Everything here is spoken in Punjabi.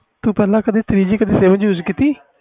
ਤੂੰ ਪਹਿਲੇ ਕਦੇ three G sim use ਕੀਤੀ